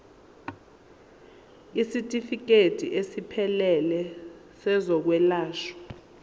isitifikedi esiphelele sezokwelashwa